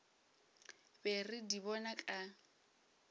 be re di bona ka